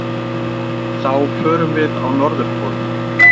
Þá förum við á Norðurpólinn.